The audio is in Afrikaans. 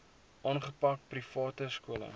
aangepak private skole